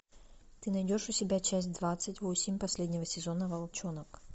ты найдешь у себя часть двадцать восемь последнего сезона волчонок